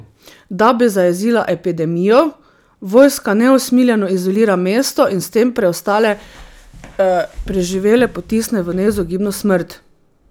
Da bi zajezila epidemijo, vojska neusmiljeno izolira mesto in s tem preostale preživele potisne v neizogibno smrt.